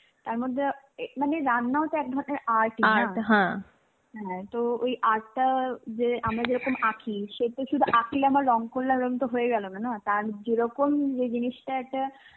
তারমধ্যে, আ এ মানে রান্নাও তো এক ধরনের art ই না হ্যাঁ তো ওই art টা যে আমরা যেরকম আঁকি আঁকলাম আর রঙ করলাম এরকম তো হয়েগেলোনা না, তার যেরকম সেই জিনিসটা একটা